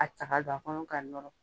A ta k'a don a kɔnɔ k'a nɔrɔ.